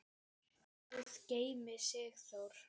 Guð geymi Sigþór.